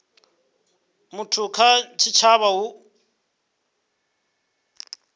muthu kha tshitshavha hu u